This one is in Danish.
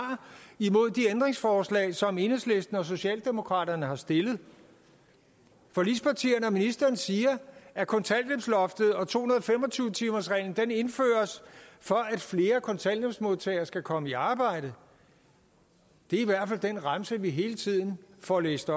mod de ændringsforslag som enhedslisten og socialdemokraterne har stillet forligspartierne og ministeren siger at kontanthjælpsloftet og to hundrede og fem og tyve timersreglen indføres for at flere kontanthjælpsmodtagere skal komme i arbejde det er i hvert fald den remse vi hele tiden får læst